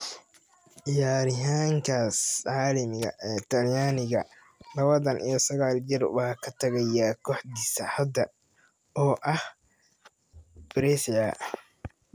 Ciyaaryahankaas caalamiga ee Talyaaniga, lawatan iyo saqal jir, waa ka tagaya kooxdiisa hadda oo ah Brescia.